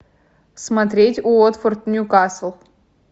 смотреть уотфорд ньюкасл